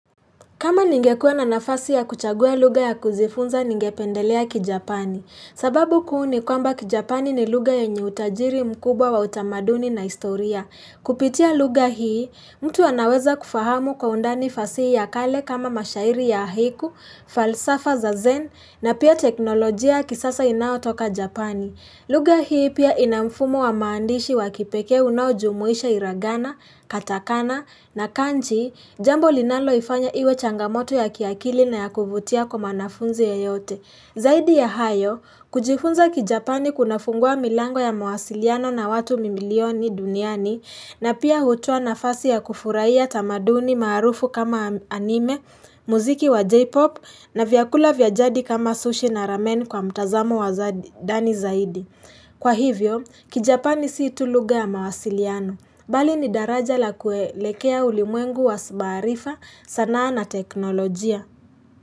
Kama ningekua na nafasi ya kuchagua luga ya kuzifunza ningependelea kijapani. Sababu kuu ni kwamba kijapani ni luga yenye utajiri mkubwa wa utamaduni na historia. Kupitia luga hii, mtu wanaweza kufahamu kwa undani fasihi ya kale kama mashairi ya ahiku, falsafa za zen na pia teknolojia kisasa inao toka japani. Luga hii pia inamfumo wa maandishi wa kipeke unaojumuisha iragana, katakana na kanji, jambo linalo ifanya iwe changamoto ya kiakili na ya kuvutia kwa mwanafunzi yeyote. Zaidi ya hayo, kujifunza kijapani kunafungua milango ya mawasiliano na watu mimilioni duniani na pia hutoa na fasi ya kufuraia tamaduni marufu kama anime, muziki wa J-pop na vyakula vyajadi kama sushi na ramen kwa mtazamo wa dani zaidi. Kwa hivyo, kijapani sii tu luga ya mawasiliano, bali ni daraja la kuelekea ulimwengu wa sbarifa sanaa na teknolojia.